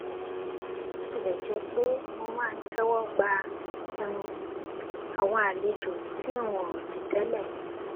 bó tilè jé pé mo máa ń téwó gba um àwọn àlejò tí n ò rò tì télè